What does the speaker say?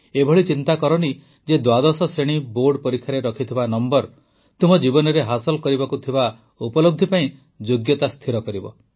ଏଭଳି ଚିନ୍ତା କରନି ଯେ ଦ୍ୱାଦଶ ଶ୍ରେଣୀ ବୋର୍ଡ଼ ପରୀକ୍ଷାରେ ରଖିଥିବା ନମ୍ବର ତୁମେ ଜୀବନରେ ହାସଲ କରିବାକୁ ଥିବା ଉପଲବ୍ଧି ପାଇଁ ଯୋଗ୍ୟତା ସ୍ଥିର କରିବ